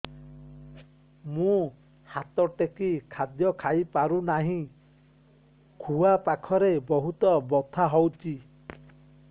ମୁ ହାତ ଟେକି ଖାଦ୍ୟ ଖାଇପାରୁନାହିଁ ଖୁଆ ପାଖରେ ବହୁତ ବଥା ହଉଚି